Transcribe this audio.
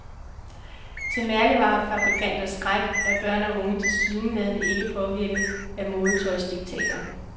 Til mærkevarefabrikanters skræk er børn og unge tilsyneladende ikke påvirket af modetøjsdiktater.